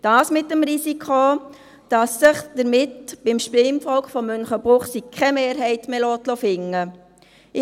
Dies mit dem Risiko, dass sich damit beim Stimmvolk von Münchenbuchsee keine Mehrheit mehr finden lässt.